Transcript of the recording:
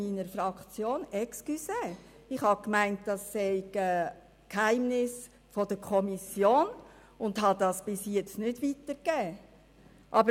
Entschuldigung, ich habe gedacht, diese Zahlen unterstünden dem Kommissionsgeheimnis, und ich habe sie bis jetzt nicht weitergegeben.